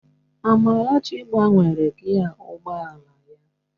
Amarachi gbanwere gịaa ụgbọ ala ya